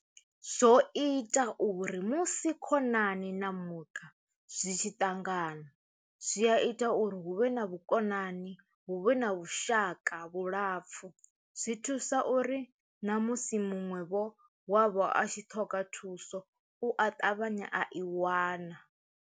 Zwo ita uri musi khonani na muṱa zwi tshi ṱangana zwi a ita uri hu vhe na vhukonani hu vhe na vhushaka vhulapfu zwi thusa uri ṋamusi muṅwe vho wavho a tshi ṱhoga thuso u a ṱavhanya a i wana.